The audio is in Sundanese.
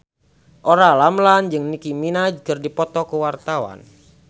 Olla Ramlan jeung Nicky Minaj keur dipoto ku wartawan